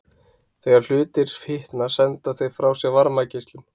Þegar hlutir hitna senda þeir frá sér varmageislun.